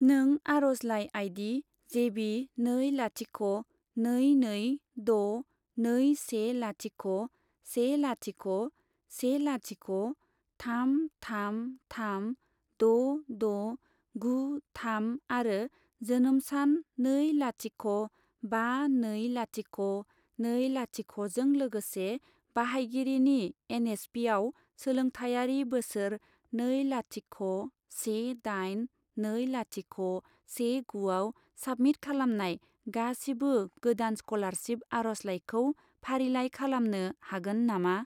नों आर'जलाइ आई.डी. जेबि नै लाथिख' नै नै द' नै से लाथिख' से लाथिख' से लाथिख' थाम थाम थाम द' द' गु थाम आरो जोनोम सान नै लाथिख' बा नै लाथिख' नै लाथिख' जों लोगोसे बाहायगिरिनि एन.एस.पि.आव सोलोंथायारि बोसोर नै लाथिख' से दाइन, नै लाथिख' से गुआव साबमिट खालामनाय गासिबो गोदान स्कलारशिप आर'जलाइखौ फारिलाइ खालामनो हागोन नामा?